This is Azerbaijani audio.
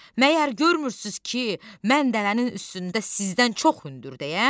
Məgər görmürsünüz ki, mən dəvənin üstündə sizdən çox hündürdüyəm?